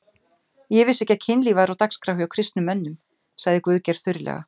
Ég vissi ekki að kynlíf væri á dagskrá hjá kristnum mönnum, sagði Guðgeir þurrlega.